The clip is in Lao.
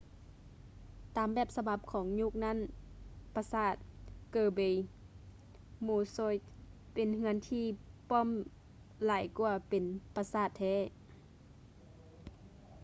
ຕາມແບບສະບັບຂອງຍຸກນັ້ນປະສາດ kirby muxioe ເປັນເຮືອນທີ່ປ້ອມຫຼາຍກວ່າເປັນປະສາດແທ້